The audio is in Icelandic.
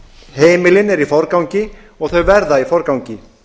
heimilin eru í forgangi og þau verða í forgangi